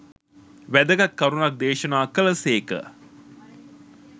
වැදගත් කරුණක් දේශනා කළ සේක